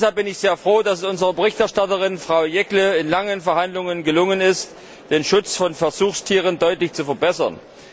Deshalb bin ich sehr froh, dass es unserer Berichterstatterin, Frau Jeggle, in langen Verhandlungen gelungen ist, den Schutz von Versuchstieren deutlich zu verbessern.